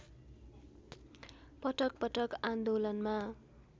पटक पटक आन्दोलनमा